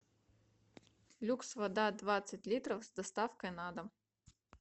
люкс вода двадцать литров с доставкой на дом